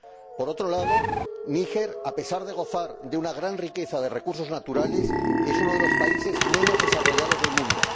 Por otro lado, Níger, a pesar de gozar de una gran riqueza de recursos naturales, es uno de los países menos desarrollados del mundo.